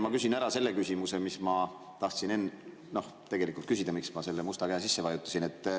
Ma küsin ära selle küsimuse, mis ma tahtsin tegelikult küsida ja mistõttu ma selle musta käe sisse vajutasin.